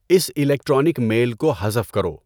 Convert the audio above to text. اس electronic mail کو حذف کرو